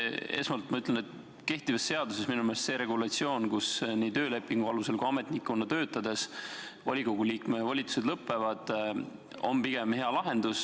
Esmalt ma ütlen, et kehtiva seaduse regulatsioon minu meelest, et nii töölepingu alusel kui ka ametnikuna töötades volikogu liikme volitused lõpevad, on pigem hea lahendus.